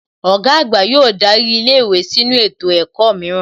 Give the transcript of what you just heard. Ọ̀gá àgbà yóò darí ilé ìwé sínu ètò ẹ̀kọ́ mìíràn